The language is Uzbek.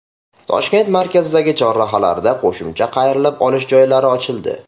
Toshkent markazidagi chorrahalarda qo‘shimcha qayrilib olish joylari ochildi.